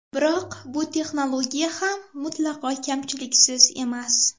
Biroq bu texnologiya ham mutlaqo kamchiliksiz emas.